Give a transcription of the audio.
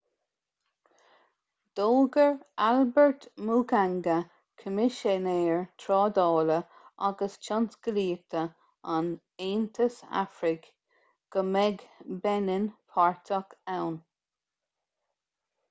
d'fhógair albert muchanga coimisinéir trádála agus tionsclaíochta an aontais afracaigh go mbeidh beinin páirteach ann